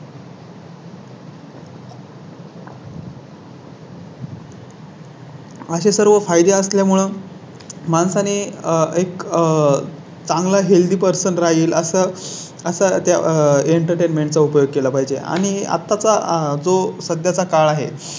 असे सर्व फायदे असल्यामुळे. माणसा ने आह एक आह चांगला Healthy person राहील असं असं त्या Entertainment चा उपयोग केला पाहिजे. आणि आता चा जो सध्या चा काळ आहे.